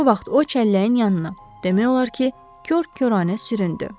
Bu vaxt o çəlləyin yanına, demək olar ki, kor-kəranə süründü.